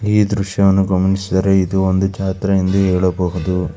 ಈ ದೃಶ್ಯವನ್ನು ಗಮನಿಸಿದರೆ ಇದು ಒಂದು ಜಾತ್ರೆ ಎಂದು ಹೇಳಬಹುದು.